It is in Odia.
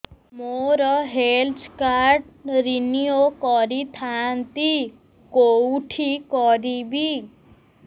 ମୋର ହେଲ୍ଥ କାର୍ଡ ରିନିଓ କରିଥାନ୍ତି କୋଉଠି କରିବି